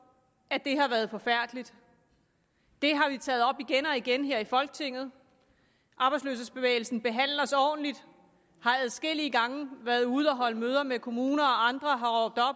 at det har været forfærdeligt det har vi taget op igen og igen her i folketinget arbejdsløshedsbevægelsen behandl os ordentligt har adskillige gange været ude at holde møder med kommuner og andre